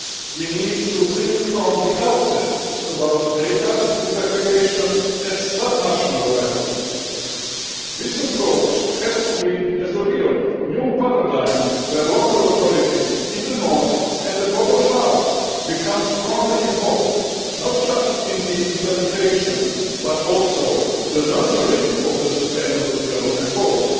We need to think from the outset about data desegregation at sub national level. This approach has to be a real new paradigm where local authorities in the north and the global south become strongly involved, not just in the implementation but also in the nurturing of the Sustainable Development Goals.